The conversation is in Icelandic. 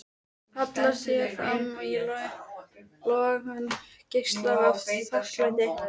Hallar sér fram í logann og geislar af þakklæti.